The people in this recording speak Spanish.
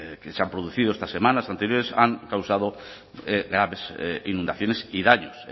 que se han producido estas semanas anteriores han causado graves inundaciones y daños